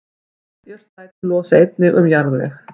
Jurtaætur losa einnig um jarðveg.